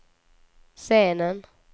scenen